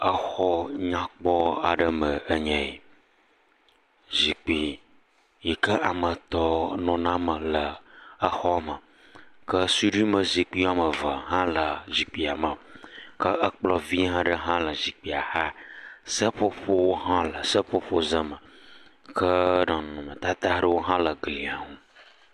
Xɔ nyakpɔ aɖe me enye yi. Zikpui yi ke ame etɔ̃ nɔna eme le xɔa me ke suɖuime zikpuie eve hã le zikpuia me ke kplɔ̃ vi aɖe hã le zikpui xa, seƒoƒo hã le seƒoƒo ze me ke nɔnɔmetata aɖewo hã le glia ŋu.